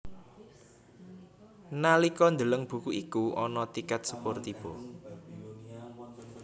Nalika ndeleng buku iku ana tikèt sepur tiba